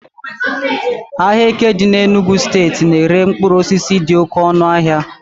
ahịa eke dị n'Enugwu steeti na-ere mkpụrụ osisi dị oke ọnụahịa